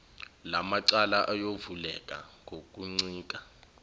lamacala ayovuleka ngokuncika